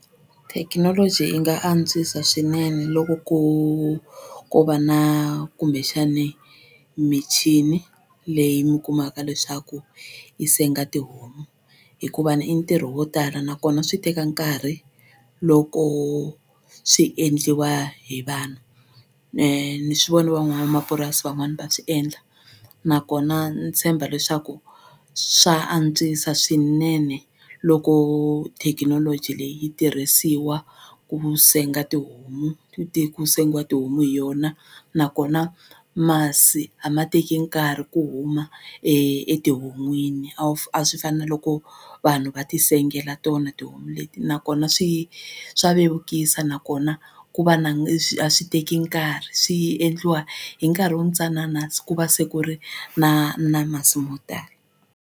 Thekinoloji yi nga antswisa swinene loko ko ko va na kumbexani michini leyi mi kumaka leswaku yi senga tihomu hikuva ni i ntirho wo tala nakona swi teka nkarhi loko swi endliwa hi vanhu ni swi vone van'wamapurasi van'wani va swi endla nakona ni tshemba leswaku swa antswisa swinene loko thekinoloji leyi yi tirhisiwa ku senga tihomu ku sengiwa tihomu hi yona nakona masi a ma teki nkarhi ku huma ehon'wini a a swi fani na loko vanhu va ti sengela tona tihomu leti nakona swi swa vevukisa nakona ku va na a swi teki nkarhi swi endliwa hi nkarhi wu ntsanana ku va se ku ri na na masi mo tala.